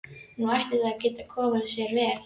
Nú ætti það að geta komið sér vel.